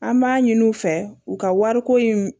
An b'a ɲini u fɛ u ka wari ko in